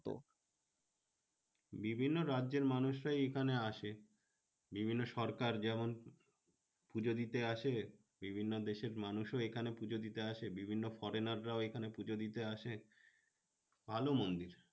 বিভিন্ন রাজ্যের মানুষরাই এখানে আসে। বিভিন্ন সরকার যেমন পুজো দিতে আসে। বিভিন্ন দেশের মানুষও এখানে পুজো দিতে আসে। বিভিন্ন foreigner রাও এখানে পুজো দিতে আসে। ভালো মন্দির।